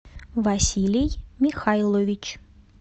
василий михайлович